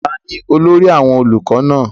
ta ni olórí àwọn olùkọ náà?